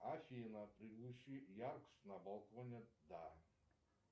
афина приглуши яркость на балконе да